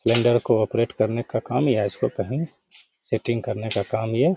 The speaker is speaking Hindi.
को ऑपरेट करने का काम या इसको कहीं सेटिंग करने का काम ये --